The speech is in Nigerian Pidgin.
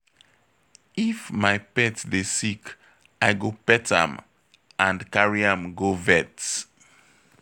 If my pet dey sick, I go pet am and carry am go vet.